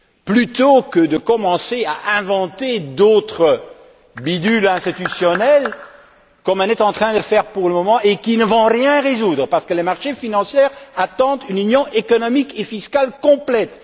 plutôt que de commencer à inventer d'autres bidules institutionnels, comme on est en train de le faire, qui ne vont rien résoudre, parce que les marchés financiers attendent une Union économique et fiscale complète.